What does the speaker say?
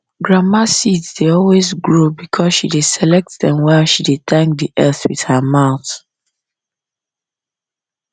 grandma seeds dey always grow because she dey select them while she dey thank the earth with her mouth